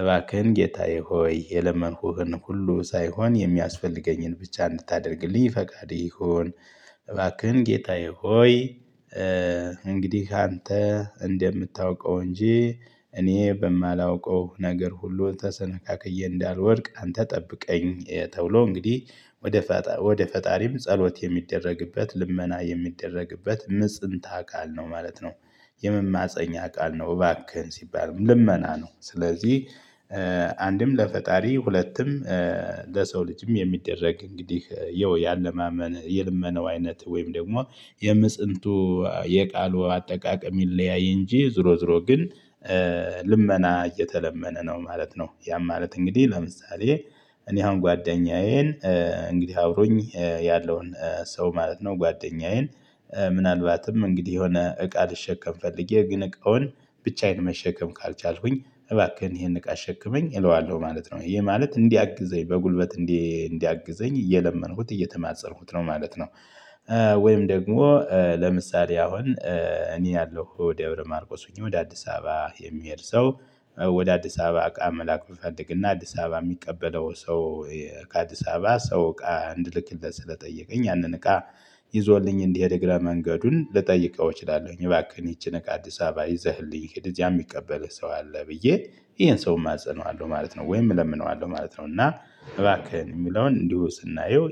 እባክህን ጌታዬ ሆይ የለመንኩህን ሁሉ ሳይሆን የሚያስፈልገኝን ብቻ እንድታደርግልኝ ፈቃድህ ይሁን። እባክህን ጌታዬ ሆይ። እንግዲህ አንተ እንደምታውቀው እንጂ እኔ በማላውቀው ነገር ሁሉ ተሰነካክዬ እንዳልወድቅ አንተ ጠብቀኝ ተብሎ እንግዲህ ወደ ወደ ፈጣሪም ጸሎት የሚደረግበት ልመና የሚደረግበት ምጽንት አካል ነው ማለት ነው። የመማፀኛ ቃል ነው እባክህን ሲባል ልመና ነው። ስለዚህ አንድም ለፈጣሪ ሁለትም ለሰው ልጅም የሚደረግ እንግዲህ ያው ያለማመን የልመናው አይነት ወይም ደግሞ የምጽንቱ የቃሉ አጠቃቀም ይለያይ። እንጂ ዙሮ ዙሮ ግን ልመና እየተለመነ ነው ማለት ነው። ያም ማለት እንግዲህ ለምሳሌ እኔ አሁን ጓደኛዬን እንግዲህ አብሮኝ ያለውን ሰው ማለት ነው። ጓደኛዬን ምናልባትም እንግዲህ የሆነ እቃ ልሸከም ፈልጌ ግን እቃውን ብቻዬን መሸከም ካልቻልኩኝ እባክህን ይሄን እቃ አሸክመኝ እለዋለሁ ማለት ነው ይህ ማለት እንዲያግዘኝ በጉልበት እንዲ እንዲያግዘኝ እየለመንኩት እየተማፀንኩት ነው ማለት ነው። ወይም ደግሞ ለምሳሌ አሁን እኔ ያለው ደብረ ማርቆስ ሆኜ ወደ አዲስ አበባ የሚሄድ ሰው ወደ አዲስ አበባ አቃ መላክ ብፈልግና አዲስ አበባ የሚቀበለው ሰው ይሄ ከአዲስ አበባ ሰው እቃ እንድልክለት ስለጠየቀኝ ያንን እቃ ይዞልኝ እንዲሄድ እግረ መንገዱን ልጠይቀው እችላለሁኝ እባክህን ይቺን እቃ አዲስ አበባ ይዘህልኝ ሂድ እዚያ የሚቀበልህ ሰው አለ ብዬ ይሄን ሰው እማጽነዋለሁ ማለት ነው። ወይም እለምነዋለሁ ማለት ነው። እና እባክህን የሚለውን እንዲሁ ስናየው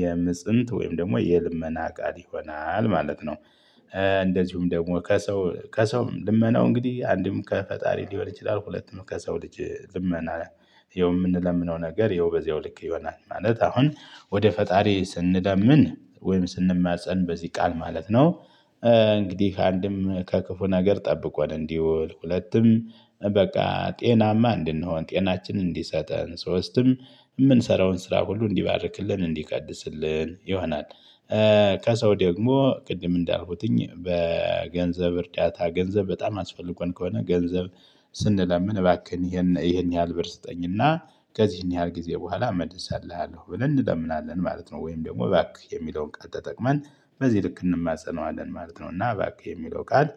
የምጽንት ወይም ደግሞ የልመና ቃል ይሆናል ማለት ነው። እንደዚሁም ደግሞ ከሰው ከሰው ልመናው እንግዲህ አንድም ከፈጣሪ ሊሆን ይችላል። ሁለቱም ከሰው ልጅ ልመና ያው የምንለምነው ነገር ይኸው በዚያው ልክ ይሆናል። ማለት አሁን ወደ ፈጣሪ ስንለምን ወይም ስንማፀን በዚህ ቃል ማለት ነው። እንግዲህ አንድም ከክፉ ነገር ጠብቆን እንዲውል ሁለቱም በቃ ጤናማ እንድንሆን ጤናችን እንዲሰጠን ሶስትም ምንሰራውን ስራ ሁሉ እንዲባርክልን እንዲቀድስልን ይሆናል። ከሰው ደግሞ ቅድም እንዳልኩትኝ በገንዘብ እርዳታ ገንዘብ በጣም አስፈልጎን ከሆነ ገንዘብ ስንለምን እባክህን ይሄን ይሄን ያህል ብር ስጠኝና ከዚህን ያህል ጊዜ በኋላ እመልስልሀለው ብለን እንለምናለን ማለት ነው። ወይም ደግሞ እባክህ የሚለውን ቃል ተጠቅመን በዚህ ልክ እንማጸነዋለን ማለት ነው። እና እባክህ የሚለው ቃል